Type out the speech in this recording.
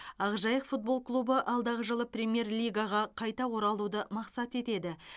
ақжайық футбол клубы алдағы жылы премьер лигаға қайта оралуды мақсат етеді